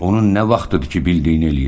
Onun nə vaxtıdır ki bildiyini eləyir?